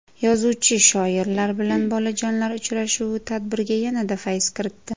Yozuvchi-shoirlar bilan bolajonlar uchrashuvi tadbirga yanada fayz kiritdi.